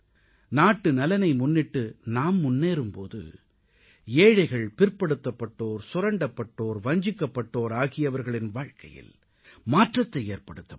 நாட்டுநலனை முன்னிட்டு நாம் முன்னேறும் போது ஏழைகள் பிற்படுத்தப்பட்டோர் சுரண்டப்பட்டோர் வஞ்சிக்கப்பட்டோர் ஆகியவர்களின் வாழ்க்கையில் மாற்றத்தை ஏற்படுத்த முடியும்